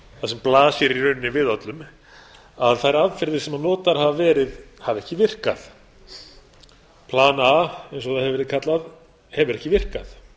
það sem blasir í rauninni við öllum að þær aðferðir sem notaðar hafa verið hafa ekki virkað plan a eins og það hefur verið kallað hefur ekki virkað